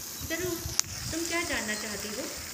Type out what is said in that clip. ज़रूर, तुम क्या जानना चाहती हो?